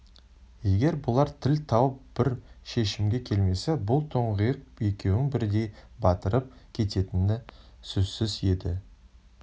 егер бұлар тіл тауып бір шешімге келмесе бұл тұңғиық екеуін бірдей батырып кететіні сөзсіз еді